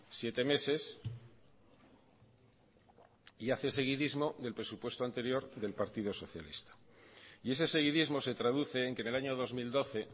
siete meses y hace seguidismo del presupuesto anterior del partido socialista y ese seguidismo se traduce en que en el año dos mil doce